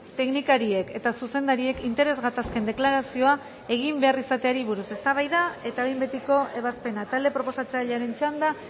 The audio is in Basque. teknikariek eta zuzendariek interes gatazken deklarazioa egin behar izateari buruz eztabaida eta behin betiko ebazpena talde proposatzailearen txanda